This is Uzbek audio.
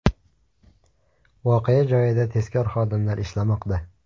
Voqea joyida tezkor xodimlar ishlamoqda.